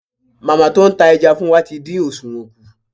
Màmá tó ń ta ẹja fún wa tí dín òsùwọ́n kù.